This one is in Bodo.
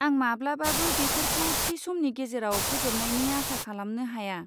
आं माब्लाबाबो बेफोरखौ थि समनि गेजेराव फोजोबनायनि आसा खालामनो हाया।